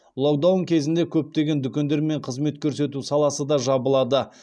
локдаун кезінде көптеген дүкендер мен қызмет көрсету саласы да жабылады